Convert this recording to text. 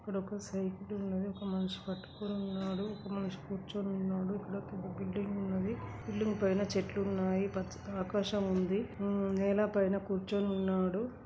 ఇక్కడ ఒక సైకిలు ఉన్నది. ఒక మనిషి పట్టుకొని ఉన్నాడు. ఒక మనషి కూర్చొని ఉన్నాడు. ఇక్కడ ఒక బిల్డింగ్ ఉన్నది. బిల్డింగ్ పైన చెట్లు ఉన్నాయి. పచ్చగా ఆకాశం ఉంది. నెల పైన కూర్చొని ఉన్నాడు.